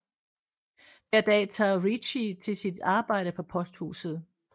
Hver dag tager Ryuichi til sit arbejde på posthuset